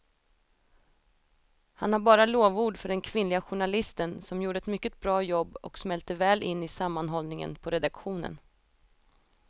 Han har bara lovord för den kvinnliga journalisten som gjorde ett mycket bra jobb och smälte väl in i sammanhållningen på redaktionen.